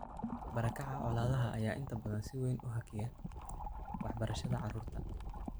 Barakaca colaadaha ayaa inta badan si weyn u hakiya waxbarashada carruurta.